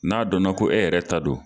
N'a dɔnna ko e yɛrɛ ta do.